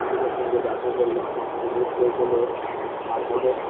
বন্ধুদের সঙ্গে দেখা করলাম একটু mood fresh হলো তারপরে